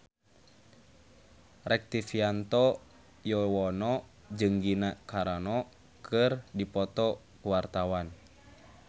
Rektivianto Yoewono jeung Gina Carano keur dipoto ku wartawan